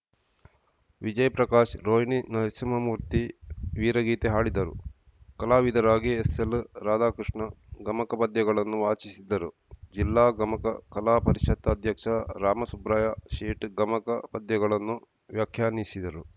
ವಿಜಯ ಪ್ರಕಾಶ್‌ ರೋಹಿಣಿ ನರಸಿಂಹಮೂರ್ತಿ ವೀರಗೀತೆ ಹಾಡಿದರು ಕಲಾವಿದರಾಗಿ ಎಸ್‌ಎಲ್‌ ರಾಧಾಕೃಷ್ಣ ಗಮಕ ಪದ್ಯಗಳನ್ನು ವಾಚಿಸಿದರು ಜಿಲ್ಲಾ ಗಮಕ ಕಲಾ ಪರಿಷತ್‌ ಅಧ್ಯಕ್ಷ ರಾಮಸುಬ್ರಾಯ ಶೇಟ್‌ ಗಮಕ ಪದ್ಯಗಳನ್ನು ವ್ಯಾಖ್ಯಾನಿಸಿದರು